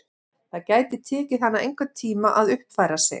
Það gæti tekið hana einhvern tíma að uppfæra sig.